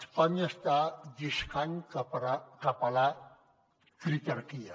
espanya està lliscant cap a la critarquia